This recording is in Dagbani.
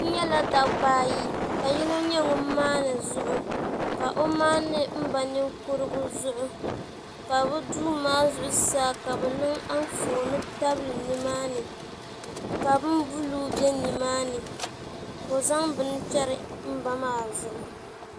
N nyɛla dabba ayi ka yino nyɛ ŋun maandi zuɣu ka o maandi n ba ninkurigu zuɣu ka bi duu maa zuɣusaa ka bi niŋ Anfooni tabili nimaani ka bin buluu bɛ nimaani ka o zaŋ bini chɛri n ba maa zuɣu